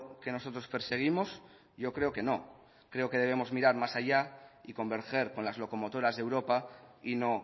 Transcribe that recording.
que nosotros perseguimos yo creo que no creo que debemos mirar más allá y converger con las locomotoras de europa y no